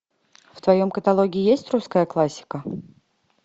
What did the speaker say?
в твоем каталоге есть русская классика